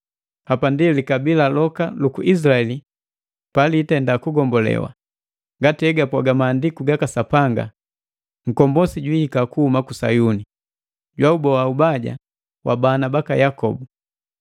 Hapandi likabila loka luku Izilaeli palitenda kugombolewa, ngati hegapwaga Maandiku gaka Sapanga, “Nkombosi jwiihika kuhuma ku Sayuni, jwauboa ubaja wa bana baka Yakobu.”